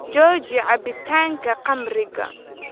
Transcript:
Jooji cabbitaanka khamriga